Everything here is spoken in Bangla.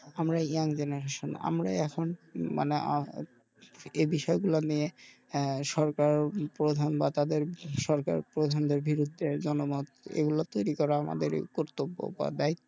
আমরা young generation আমরাই এখন মানে আহ এই বিষয় গুলা নিয়ে সরকার প্রধান বা তাদের সরকার প্রধান দের বিরুদ্ধে জনমত এইগুলো তৈরি করা আমাদের কর্তব্য বা দায়ী~